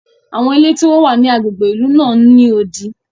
Awọn ilé ti o wa ni agbègbè ìlú náà n ni odi.